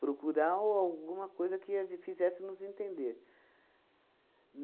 Procurar ou alguma coisa que a gen fizesse nos entender.